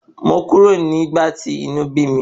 Mo kúrò nígbà tí inú bí mi.